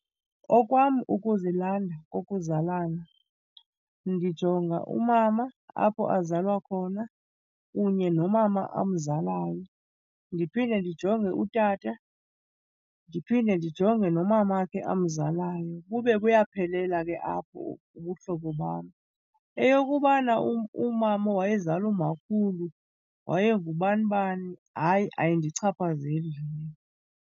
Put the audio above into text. Okwam ukuzilanda kokuzalana ndijonga umama apho azalwa khona kunye nomama amzalayo. Ndiphinde ndijonge utata ndiphinde ndijonge nomamakhe amzalayo bube buyaphelela ke apho ubuhlobo bam. Eyokubana umama wayezala umakhulu wayengubani bani hayi ayindichaphazeli mna.